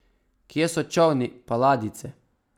Kje so čolni pa ladjice?